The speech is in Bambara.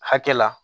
Hakɛ la